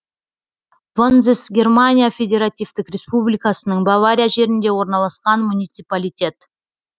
вонзес германия федеративтік республикасының бавария жерінде орналасқан муниципалитет